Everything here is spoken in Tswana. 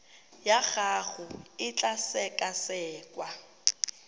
ya gago e tla sekasekwa